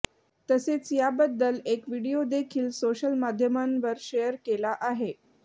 तसेच याबद्दल एक व्हिडीओ देखील सोशल माध्यमांवर शेअर केला आहे